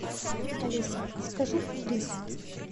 алиса закажи рис